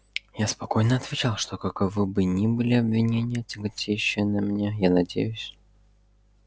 я спокойно отвечал что каковы бы ни были обвинения тяготеющие на мне я надеюсь